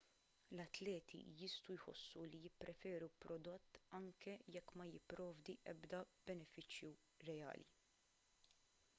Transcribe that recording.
l-atleti jistgħu jħossu li jippreferu prodott anke jekk ma jipprovdi ebda benefiċċji reali